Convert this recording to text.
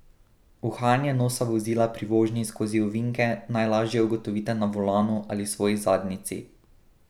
Uhajanje nosa vozila pri vožnji skozi ovinke najlažje ugotovite na volanu ali svoji zadnjici.